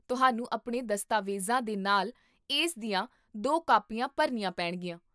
ਤੁਹਾਨੂੰ ਆਪਣੇ ਦਸਤਾਵੇਜ਼ਾਂ ਦੇ ਨਾਲ ਇਸ ਦੀਆਂ ਦੋ ਕਾਪੀਆਂ ਭਰਨੀਆਂ ਪੈਣਗੀਆਂ